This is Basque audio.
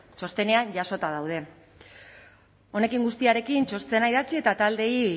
txostenean jasota daude honekin guztiarekin txostena idatzi eta taldeei